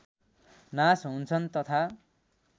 नाश हुन्छन् तथा